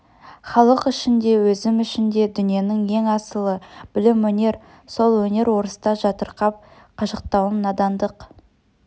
халық үшін де өзім үшін де дүниенің ең асылы білім-өнер сол өнер орыста жатырқап қашықтауым надандық